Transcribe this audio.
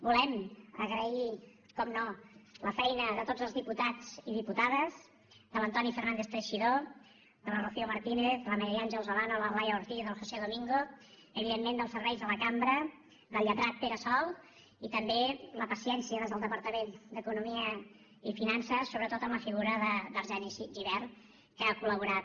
volem agrair per descomptat la feina de tots els diputats i diputades de l’antoni fernández teixidó de la rocío martínez de la maria àngels olano de la laia ortiz del josé domingo evidentment dels serveis de la cambra del lletrat pere sol i també la paciència des del departament d’economia i finances sobretot en la figura d’arseni gibert que ha col·laborat